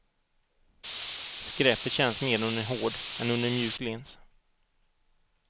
Skräpet känns mer under en hård än under en mjuk lins.